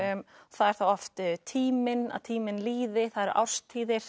það er þá oft tíminn að tíminn líði það eru árstíðir